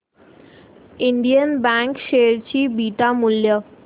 Indian bank share चे beta मूल्य